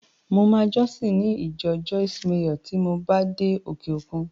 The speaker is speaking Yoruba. Mo máa jọ́sìn ní ìjọ Joyce Meyer tí mo bá ti dé òkè-òkun